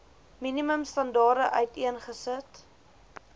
minimum standaarde uiteengesit